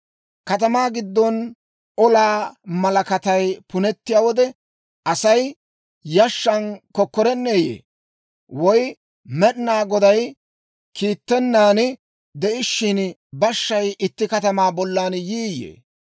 Katamaa giddon olaa malakatay punettiyaa wode, Asay yashshan kokkorenneeyye? Woy Med'inaa Goday kiittennan de'ishshin, bashshay itti katamaa bollan yiiyye?